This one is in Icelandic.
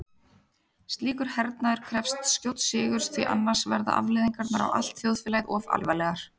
Slíkur hernaður krefst skjóts sigurs því annars verða afleiðingarnar á allt þjóðfélagið of alvarlegar.